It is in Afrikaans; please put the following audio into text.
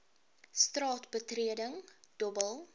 straat betreding dobbel